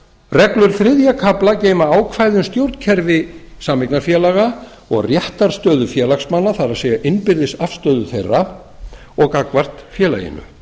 reglur þriðja kafla geyma ákvæði um stjórnkerfi sameignarfélaga og réttarstöðu félagsmanna það er innbyrðis afstöðu þeirra og gagnvart félaginu